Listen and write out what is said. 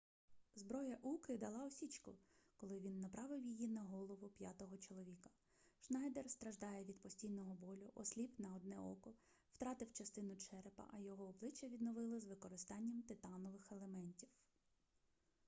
зброя уки дала осічку коли він направив її на голову п'ятого чоловіка шнайдер страждає від постійного болю осліп на одне око втратив частину черепа а його обличчя відновили з використанням титанових елементів